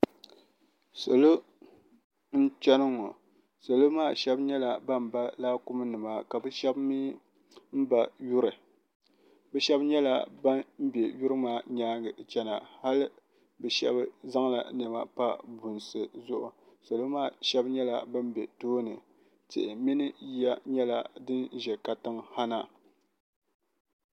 salo n chɛni ŋɔ salo maa shɛbi nyɛla ban ba laakum nima ka be shɛbi mi ba yuri be shɛba nyɛla ban bɛ be nyɛŋa chɛna yali be shɛbi nyɛla ban zaŋ nɛma pa bunisi zuɣ' salo maa nyɛla tihiimi mori ʒɛ na ha